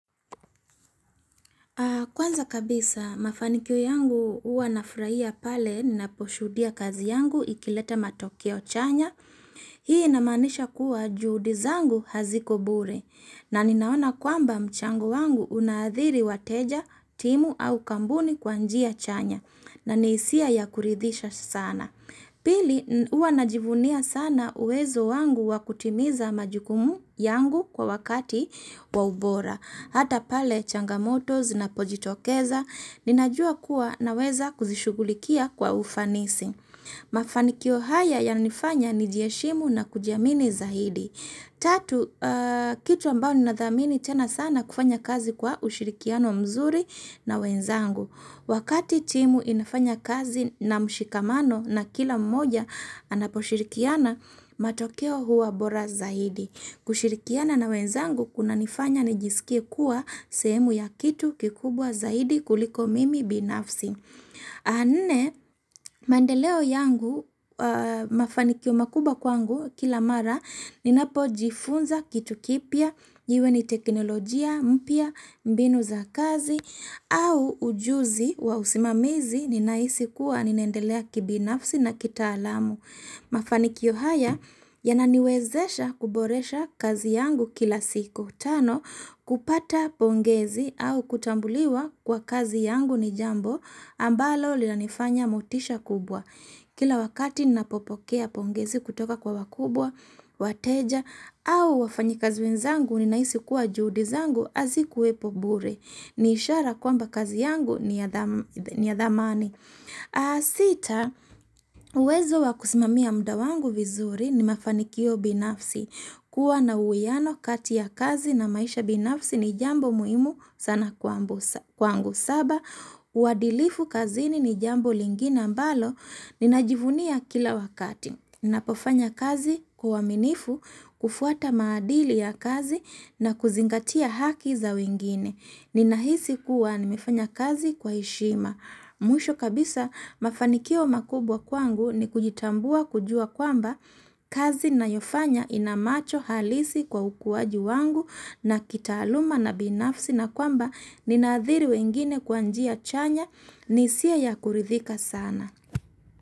Kwanza kabisa, mafanikio yangu huwa nafurahia pale ninaposhuhudia kazi yangu ikileta matokeo chanya. Hii inamaanisha kuwa juhudi zangu haziko bure na ninaona kwamba mchango wangu unaadhiri wateja, timu au kampuni kwa njia chanya na hisia ya kuridhisha sana. Pili, huwa najivunia sana uwezo wangu wakutimiza majukumu yangu kwa wakati wa ubora. Hata pale changamoto zinapojitokeza, ninajua kuwa naweza kuzishugulikia kwa ufanisi. Mafanikio haya yananifanya nijiheshimu na kujiamini zaidi. Tatu, kitu ambao ninadhamini tena sana kufanya kazi kwa ushirikiano mzuri na wenzangu. Wakati timu inafanya kazi na mshikamano na kila mmoja anaposhirikiana, matokeo huwa bora zahidi. Kushirikiana na wenzangu kunanifanya nijisikie kuwa sehemu ya kitu kikubwa zaidi kuliko mimi binafsi. Nne, mandeleo yangu mafanikio makubwa kwangu kila mara ninapojifunza kitu kipya, iwe ni teknolojia mpya, mbinu za kazi, au ujuzi wa usimamizi ninahisi kuwa ninaendelea kibinafsi na kitaalamu. Mafanikio haya yananiwezesha kuboresha kazi yangu kila siku. Tano, kupata pongezi au kutambuliwa kwa kazi yangu ni jambo ambalo linanifanya motisha kubwa. Kila wakati ninapopokea pongezi kutoka kwa wakubwa, wateja au wafanyikazi wenzangu ninahisi kuwa juhudi zangu hazikuwepo bure. Niishara kwamba kazi yangu ni ya dhamani. Sita, uwezo wa kusimamia muda wangu vizuri ni mafanikio binafsi kuwa na uwiano kati ya kazi na maisha binafsi ni jambo muimu sana kwangu. Saba, uadilifu kazini ni jambo lingine ambalo Ninajivunia kila wakati Ninapofanya kazi kwa uaminifu, kufuata maadili ya kazi na kuzingatia haki za wengine. Ninahisi kuwa nimefanya kazi kwa heshima Mwisho kabisa mafanikio makubwa kwangu ni kujitambua kujua kwamba kazi ninayofanya inamacho halisi kwa ukuaji wangu na kitaaluma na binafsi na kwamba ninaadhiri wengine kwa njia chanya ni hisiaa ya kuridhika sana.